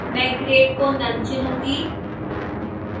मैं grade को none चुनूंगी